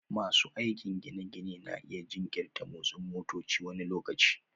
Masu aikin gine-ginen na iya jinkirta motsin motoci wani lokaci